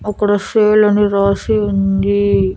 ఒక్కడ సేల్ అని రాసి ఉంది.